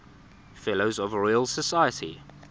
fellows of the royal society